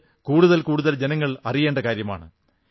ഇത് കൂടുതൽ കൂടുതൽ ജനങ്ങൾ അറിയേണ്ട കാര്യമാണ്